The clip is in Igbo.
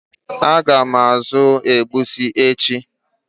Ága m azụ egusi echi.